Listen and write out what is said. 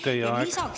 Teie aeg!